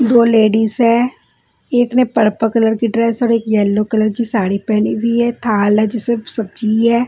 दो लेडीज हैं एक ने पर्पल कलर की ड्रेस और एक यलो कलर की साड़ी पहनी हुई है थाल है जिसमें सब्जी है।